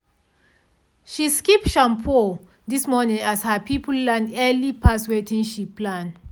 she skip shampoo this morning as her people land early pass wetin she plan.